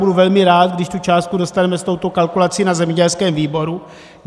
Budu velmi rád, když tu částku dostaneme s touto kalkulací na zemědělském výboru.